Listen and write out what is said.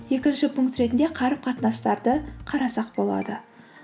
екінші пункт ретінде қарым қатынастарды қарасақ болады